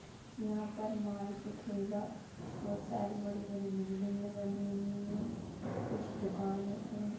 यहाँ पर मार्किट हेगा। बोहोत सारी बड़ी-बड़ी बिल्डिंग बनी हुई है। कुछ दुकान है।